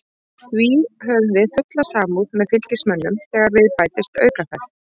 Því höfum við fulla samúð með Fylkismönnum þegar við bætist aukaferð.